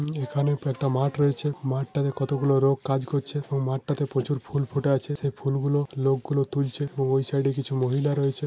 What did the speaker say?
এখানে একটা মাঠ রয়েছে । মাঠ টাতে কত গুলো লোক কাজ করছে এবং মাঠ তাতে প্রচুর ফুল ফুটে আছে ।সেই ফুল গুলো লোক গুলি তুলছে ও ওই সাইড কিছু মহিলা রয়েছে ।